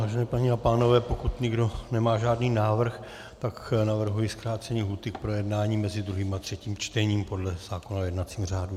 Vážené paní a pánové, pokud nikdo nemá žádný návrh, tak navrhuji zkrácení lhůty k projednání mezi druhým a třetím čtením podle zákona o jednacím řádu.